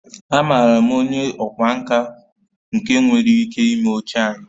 Amaara m onye ọkwá nkà nke nwere ike ime oche anyị